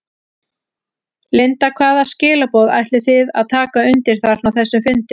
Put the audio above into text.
Linda: Hvaða skilaboð ætlið þið að taka undir þarna á þessum fundi?